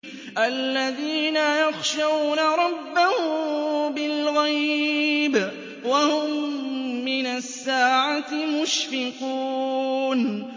الَّذِينَ يَخْشَوْنَ رَبَّهُم بِالْغَيْبِ وَهُم مِّنَ السَّاعَةِ مُشْفِقُونَ